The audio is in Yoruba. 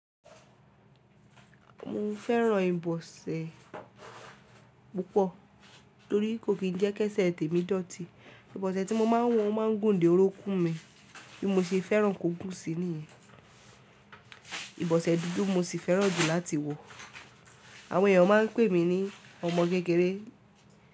Mo fẹ́ràn ìbọsẹ̀ púpọ̀ torí kò kí n jẹ́ kẹ́sẹ̀ tèmi dọ̀tí. Ìbọsẹ̀ tí mo máa n wọ̀ o máa ń gùn dé orokún mi bí mo ṣe fẹ́ràn kó gùn sí nìyẹn. Ìbọsẹ̀ dúdú mo sì fẹ́ràn jù láti wọ̀. Àwọn èèyàn máa ń pè mí ní ọmọ kékeré.